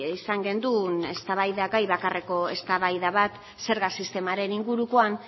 izan genuen eztabaidagai bakarreko eztabaida bat zerga sistemaren ingurukoan